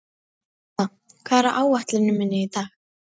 Atla, hvað er á áætluninni minni í dag?